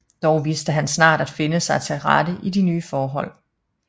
Dog vidste han snart at finde sig til rette i de ny forhold